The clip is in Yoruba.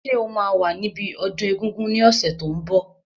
Ṣé o máa wà níbi ọdún egungun ní ọ̀sẹ̀ tó n bọ̀?